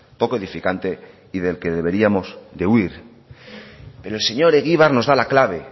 poco edificante y del que deberíamos de huir pero el señor egibar nos da la clave